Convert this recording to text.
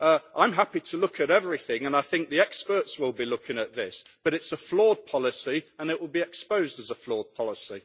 I am happy to look at everything and I think the experts will be looking at this, but it is a flawed policy and it will be exposed as a flawed policy.